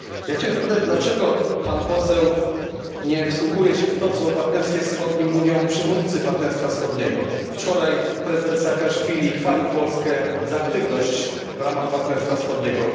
Chciałem zapytać dlaczego Pan Poseł nie wsłuchuje się w to, co o Partnerstwie Wschodnim mówią przywódcy Partnerstwa Wschodniego. Wczoraj prezydent Saakaszwili chwalił Polskę za aktywność w ramach Partnerstwa Wschodniego.